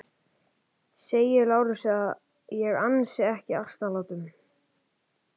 Segið Lárusi að ég ansi ekki asnalátum.